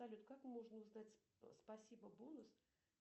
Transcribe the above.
салют как можно узнать спасибо бонус